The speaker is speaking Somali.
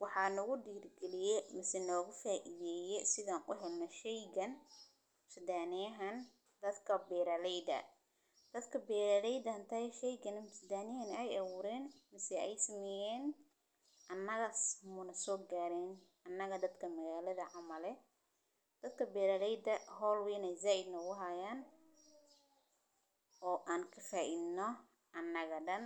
Waxaan ugu dirgeliye mis nugu faaiideye sidan u helno shaygan sidaa neyhan dadka beeraleeda. Dadka beeraleydaan taya shaygana sidaa ney ay awoodin mis ay ismiyeen annaga muna soo gaarin annaga dadka magaalada cama leh. Dadka beeraleyda hol weyn ay zaad no wuxu ahaayeen oo aan ka faa iibno annaga dan.